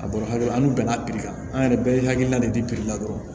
A bɔra ha la an dun na kan an yɛrɛ bɛɛ ye hakilina de biri la dɔrɔnw